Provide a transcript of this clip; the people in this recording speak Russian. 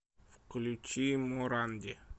включи моранди